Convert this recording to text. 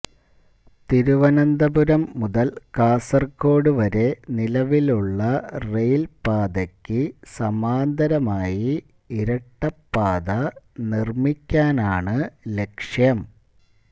തിരുവനന്തപുരം മുതൽ കാസർകോട് വരെ നിലവിലുള്ള റെയിൽപാതയ്ക്കു സമാന്തരമായി ഇരട്ടപ്പാത നിർമിക്കാനാണ് ലക്ഷ്യം